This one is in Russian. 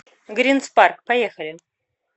гринспарк поехали